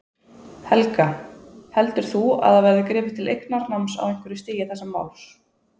Helga: Heldur þú að það verði gripið til eignarnáms á einhverju stigi þessa máls?